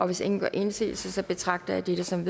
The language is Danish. hvis ingen gør indsigelse betragter jeg dette som